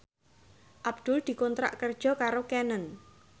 Abdul dikontrak kerja karo Canon